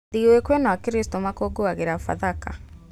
Thigũkũ ĩno akristo makũngũĩragĩra bathaka